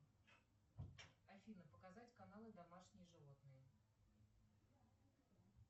афина показать каналы домашние животные